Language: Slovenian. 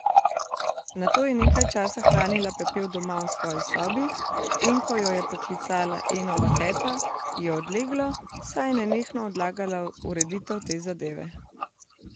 Nato je nekaj časa hranila pepel doma v svoji sobi, in ko jo je poklicala Enova teta, ji je odleglo, saj je nenehno odlagala ureditev te zadeve.